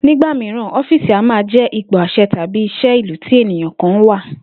Nígbà mìíràn, ó̩fíìsì a máa jé̩ ipò às̩e̩ tàbí is̩é̩ ìlú tí ènìyàn kan wà